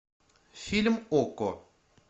фильм окко